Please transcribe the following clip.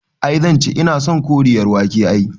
I zanci, ina son Koriyar wake ai